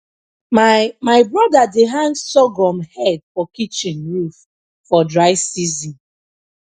my my brother dey hang sorghum head for kitchen roof for dry season